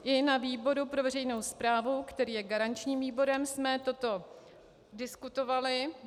I na výboru pro veřejnou správu, který je garančním výborem, jsme toto diskutovali.